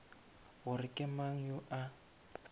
gore ke mang yo a